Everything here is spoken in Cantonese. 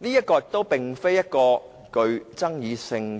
這並不具爭議性。